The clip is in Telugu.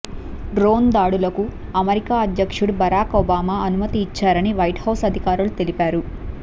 డ్రోన్ దాడులకు అమెరికా అధ్యక్షుడు బరాక్ ఒబామా అనుమతి ఇచ్చారని వైట్ హౌస్ అధికారులు తెలిపారు